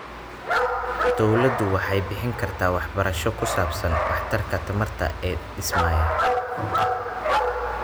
Dawladdu waxay bixin kartaa waxbarasho ku saabsan waxtarka tamarta ee dhismayaasha.